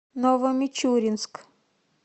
новомичуринск